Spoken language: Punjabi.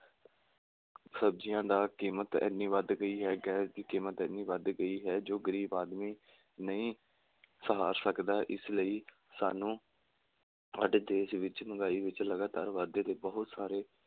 ਸਬਜੀਆਂ ਦਾ ਕੀਮਤ ਐਨੀ ਵੱਧ ਗਈ ਹੈ, ਗੈਸ ਦੀ ਕੀਮਤ ਐਨੀ ਵੱਧ ਗਈ ਹੈ, ਜੋ ਗਰੀਬ ਆਦਮੀ ਨਹੀਂ ਸਹਾਰ ਸਕਦਾ, ਇਸ ਲਈ ਸਾਨੂੰ ਸਾਡੇ ਦੇਸ਼ ਵਿੱਚ ਮਹਿੰਗਾਈ ਵਿੱਚ ਲਗਾਤਾਰ ਵਾਧੇ ਦੇ ਬਹੁਤ ਸਾਰੇ